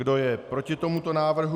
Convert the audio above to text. Kdo je proti tomuto návrhu?